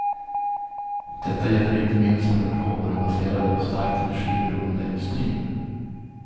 Detta gäller inte minst för den råvarubaserade och starkt energiberoende industrin.